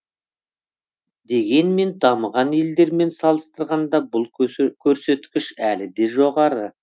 дегенмен дамыған елдермен салыстырғанда бұл көрсеткіш әлі де жоғары